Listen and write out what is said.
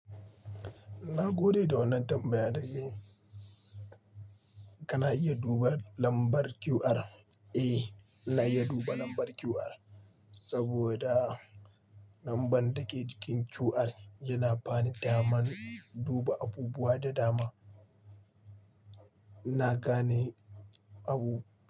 Na gode da wannan tambayar da kayi. Kana iya duba lambar QR? Eh, na iya duba lambar QR saboda lambar dake jikin QR yana bani daman duba abubuwa da dama. Ina gane abu.